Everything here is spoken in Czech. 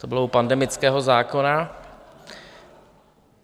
To bylo u pandemického zákona.